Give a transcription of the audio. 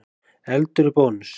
Eldur í Bónus